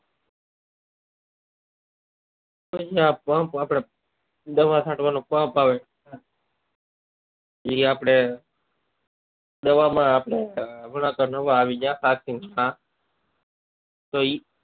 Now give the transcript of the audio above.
pump આપડે દવા કાઢવા નો પંપ આવે એ આપડે દવા માં આપડા તો ઈ